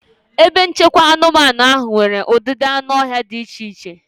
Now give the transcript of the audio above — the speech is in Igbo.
Ebe nchekwa anụmanụ ahụ nwere ụdịdị anụ ọhịa dị iche iche.